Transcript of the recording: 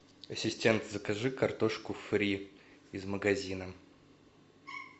ассистент закажи картошку фри из магазина